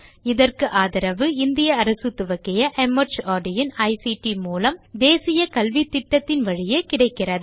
இதற்கு ஆதரவு இந்திய அரசு துவக்கிய மார்ட் இன் ஐசிடி மூலம் தேசிய கல்வித்திட்டத்தின் வழியே கிடைக்கிறது